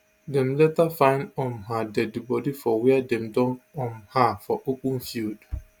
dem later find um her deadi bodi for wia dem dump um her for open field